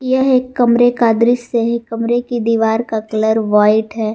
यह एक कमरे का दृश्य है कमरे कि दीवार का कलर व्हाइट है।